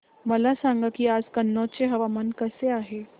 मला सांगा की आज कनौज चे हवामान कसे आहे